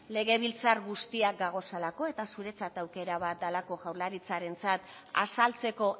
legebiltzar guztiak gagozalako eta zuretzat aukera bat dalako jaurlaritzarentzat azaltzeko